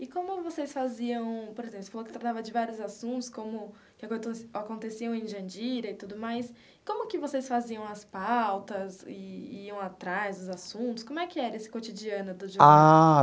E como vocês faziam, por exemplo, você falou que tratava de vários assuntos, como aconteceu aconteciam em Jandira e tudo mais, como que vocês faziam as pautas, e iam atrás dos assuntos, como é que era esse cotidiano do jornal? Ah.